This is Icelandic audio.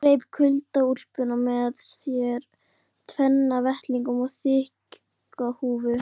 Nikki greip kuldaúlpuna með sér, tvenna vettlinga og þykka húfu.